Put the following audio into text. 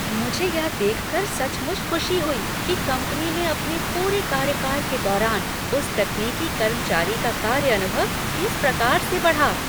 मुझे यह देखकर सचमुच खुशी हुई कि कंपनी में अपने पूरे कार्यकाल के दौरान उस तकनीकी कर्मचारी का कार्य अनुभव किस प्रकार से बढ़ा।